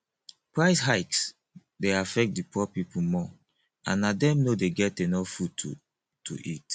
price hikes dey affect di poor people more and dem no dey get enough food to to eat